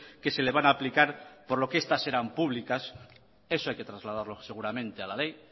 que se le van a aplicar por lo que estas eran públicas eso hay que trasladarlo seguramente a la ley